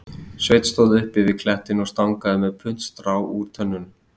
Sveinn stóð uppi við klettinn og stangaði með puntstrá úr tönnunum